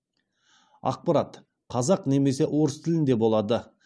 ақпарат қазақ немесе орыс тілінде болады